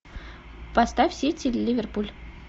поставь сити ливерпуль